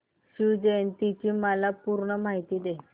शिवजयंती ची मला पूर्ण माहिती दे